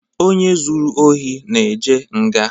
Onye zuru ohi na-eje nga.